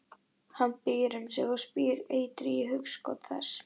Hann býr um sig og spýr eitri í hugskot þess.